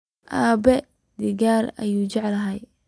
Aabe digal ayu jeclhy.